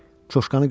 Çoşkanı götür.